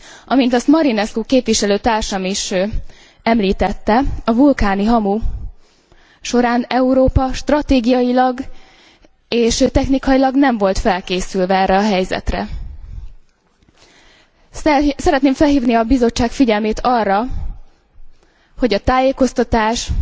Amint azt Marinescu képviselőtársam is említette, a vulkáni hamu során Európa stratégiailag és technikailag nem volt felkészülve erre a helyzetre. Szeretném felhívni a Bizottság figyelmét arra, hogy ez a tájékoztatáshoz